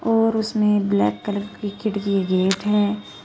और इसमें black colour की खिड़की एक गेट है।